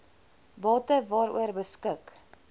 bate waaroor beskik